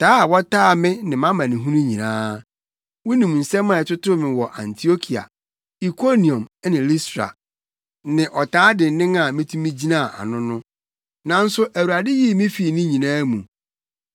taa a wɔtaa me ne mʼamanehunu nyinaa. Wunim nsɛm a ɛtotoo me wɔ Antiokia, Ikoniom ne Listra, ne ɔtaa dennen a mitumi gyinaa ano no. Nanso Awurade yii me fii ne nyinaa mu.